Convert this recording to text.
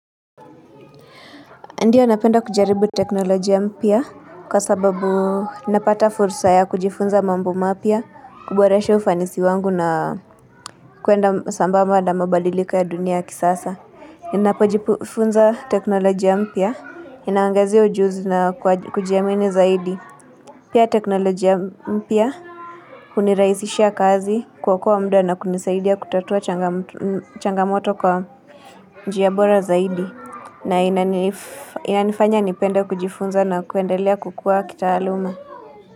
Ndio napenda kujaribu teknolojia mpya kwa sababu napata fursa ya kujifunza mambo mapya kuboresha ufanisi wangu na kuenda sambamba na mabadiliko ya dunia ya kisasa Ninapojifunza teknolojia mpya, inaniongezea ujuzi na kujiamini zaidi Pia teknolojia mpya hunirahisisha kazi kwa kuokoa muda na kunisaidia kutatua changamoto kwa njiabora zaidi na inanifanya nipende kujifunza na kuendelea kukua kitaaluma.